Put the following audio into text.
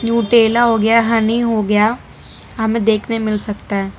न्यूट्रेला हो गया हानि हो गया हमें देखने मिल सकता है।